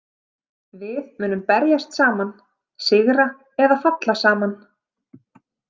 Við munum berjast saman, sigra eða falla saman.